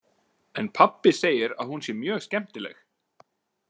En pabbi segir að hún sé mjög skemmtileg.